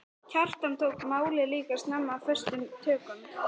Kjartan tók málið líka snemma föstum tökum.